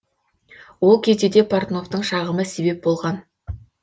ол кезде де портновтың шағымы себеп болған